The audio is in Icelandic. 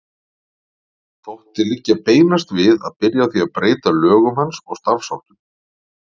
Þótti liggja beinast við að byrja á því að breyta lögum hans og starfsháttum.